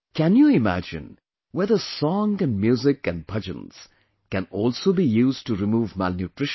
Can you imagine, whether song and music and bhajans can also be used to remove malnutrition